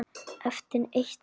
Eftir eitt ár?